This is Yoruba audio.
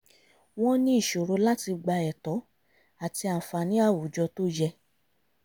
wọ́n ní ìṣòro láti gba ẹ̀tọ́ àti àǹfààní awùjọ tó yẹ